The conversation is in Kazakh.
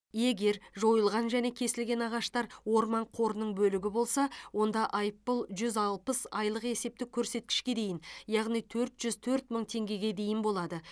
егер жойылған және кесілген ағаштар орман қорының бөлігі болса онда айыппұл жүз алпыс айлық есептік көрсеткішке дейін яғни төрт жүз төрт мың теңгеге дейін болады